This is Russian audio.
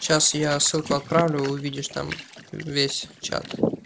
сейчас я ссылку отправлю увидишь там весь чат